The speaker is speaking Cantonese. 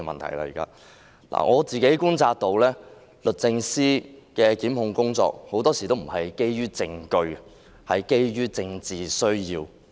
我觀察到律政司的檢控工作很多時候不是基於證據，而是基於政治需要。